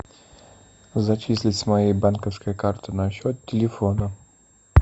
зачислить с моей банковской карты на счет телефона